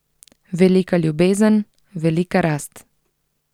Velika ljubezen, velika rast.